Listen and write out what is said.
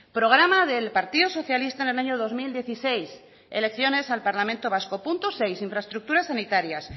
programa del partido socialista en el año dos mil dieciséis elecciones al parlamento vasco punto seis infraestructuras sanitarias